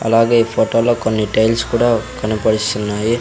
అలాగే ఈ ఫోటో లో కొన్ని టైల్స్ కూడా కనపడిస్తున్నాయి.